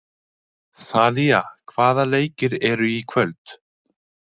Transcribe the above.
Þalía, hvaða leikir eru í kvöld?